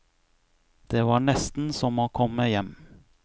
Det var nesten som å komme hjem.